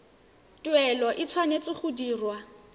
tuelo e tshwanetse go dirwa